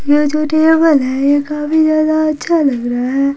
ये जो टेबल है ये काफी ज्यादा अच्छा लग रहा है।